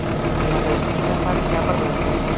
Ulardan ikki nafari jabrlandi.